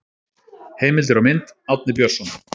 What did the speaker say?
Heimildir og mynd: Árni Björnsson.